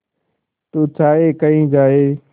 तू चाहे कही जाए